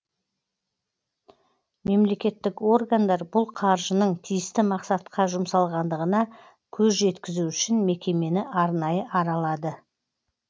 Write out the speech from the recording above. мемлекеттік органдар бұл қаржының тиісті мақсатқа жұмсалғандығына көз жеткізу үшін мекемені арнайы аралады